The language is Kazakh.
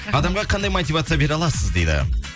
адамға қандай мотивация бере аласыз дейді